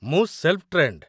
ମୁଁ, self trained.